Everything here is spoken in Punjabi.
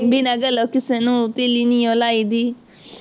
ਬਿਨਾ ਗੱਲੋਂ ਕਿਸੇ ਨੂੰ ਤੀਲੀ ਨਹੀਉਂ ਲਾਈ ਦੀ